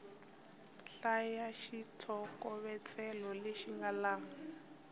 hlaya xitlhokovetselo lexi nga laha